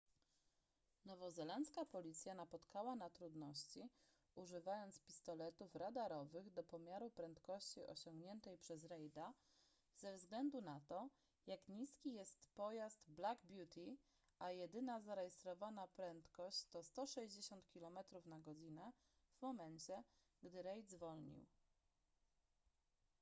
nowozelandzka policja napotkała na trudności używając pistoletów radarowych do pomiaru prędkości osiągniętej przez reida ze względu na to jak niski jest pojazd black beauty a jedyna zarejestrowana prędkość to 160 km/h w momencie gdy reid zwolnił